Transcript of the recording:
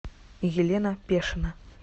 елена пешина